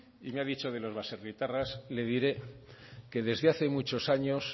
y me ha dicho que los baserritarras le diré que desde hace muchos años